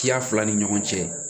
Kiya fila ni ɲɔgɔn cɛ